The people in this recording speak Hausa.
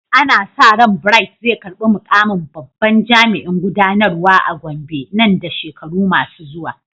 Ana sa ran Bright zai karbi mukamin babban jami'in gudanarwa a Gombe nan da shekaru masu zuwa.